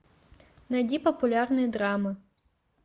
найди популярные драмы